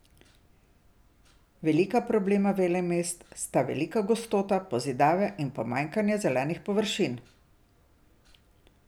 Velika problema velemest sta velika gostota pozidave in pomanjkanje zelenih površin.